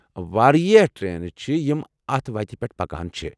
واریاہ ٹرینہٕ چھےٚ یمہٕ اتھ وتہِ پیٹھ پکان چھے٘ ۔